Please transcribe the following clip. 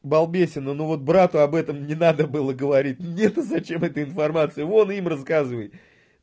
балбесина ну вот брату об этом не надо было говорить ну мне то зачем это информация вон им рассказывай